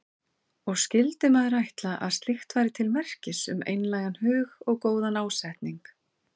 Og skyldi maður ætla að slíkt væri til merkis um einlægan hug og góðan ásetning.